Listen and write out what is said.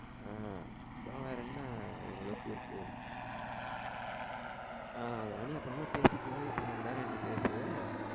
ஆஹ் அப்புறம் வேற என்ன அஹ் அதெல்லாம் நீ அப்பறமா பேசிக்கோ இப்ப நீ என் கூட கொஞ்ச நேரம் ஏண்ட பேசு